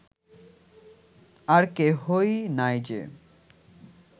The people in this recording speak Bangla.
আর কেহই নাই যে